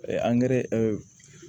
angɛrɛ